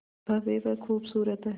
भव्य व खूबसूरत है